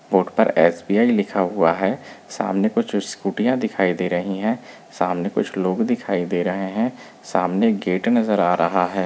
Board पर SBI लिखा हुआ है सामने कुछ स्कूटीयाँ दिखाई दे रही है सामने कुछ लोग दिखाई दे रहे है सामने गेट नजर आ रहा हैं।